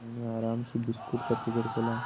फिर उन्होंने आराम से बिस्कुट का पैकेट खोला